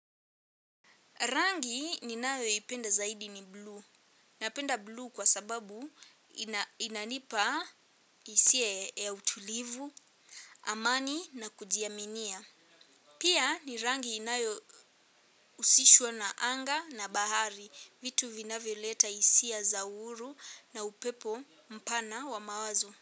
Rangi ninayo ipenda zaidi ni blue. Napenda blue kwa sababu inanipa hisia ya utulivu amani na kujiaminia. Pia ni rangi inayo husishwa na anga na bahari. Vitu vinavyo leta hisia za uhuru na upepo mpana wa mawazo.